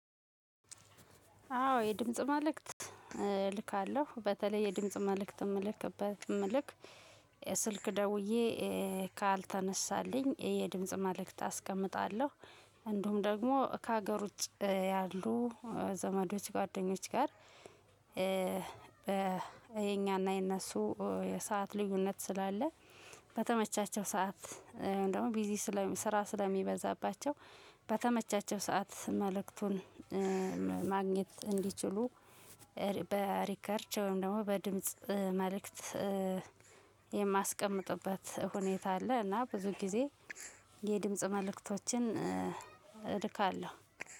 አዎ የድምጽ መልእክት እልካለሁ በተለይ የድምጽ መልእክት የምልክበት መልክት ስልክ ደውዬ ካልተነሳልኝ የድምጽ መልእክት አስቀምጣለሁ። እንዲሁም እንደውም ደግሞ ከሀገር ውጭ ያሉ ዘመዶች ጓደኞች ጋር። የኛና የእነሱ የሰዓት ልዩነት ስላለ በተመቻቸው ሰዓት ደግሞ ቢዚ ስራ ስለሚበዛባቸው በተመቻቸው ሰዓት መልእክቱን ማግኘት እንዲችሉ። በሪከርድ ወይም ደግሞ በድምጽ መልእክት የማስቀምጥበት ሁኔታ አለ። እና ብዙ ጊዜ የድምጽ መልእክቶችን እልካለው።